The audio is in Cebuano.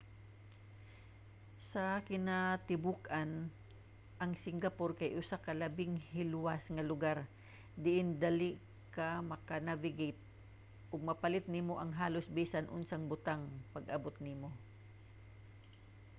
sa kinatibuk-an ang singapore kay usa ka labing hilwas nga lugar diin dali ka maka-navigate ug mapalit nimo ang halos bisan unsang butang pag-abot nimo